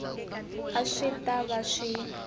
a swi ta va swi